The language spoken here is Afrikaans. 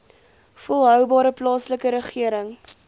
volhoubare plaaslike regering